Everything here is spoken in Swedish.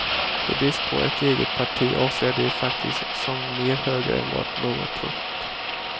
I brist på ett eget parti avslöjar de sig faktiskt som mer höger än vad någon trott.